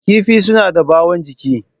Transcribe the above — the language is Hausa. Kifi suna da ɓawon jiki.